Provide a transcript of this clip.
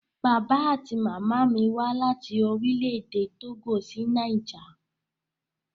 Bàbá àti màmá mí wá láti Orílẹ̀-èdè Tógò sí Niger.